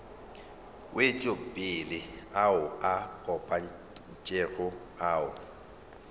wetšopele ao a kopantšwego ao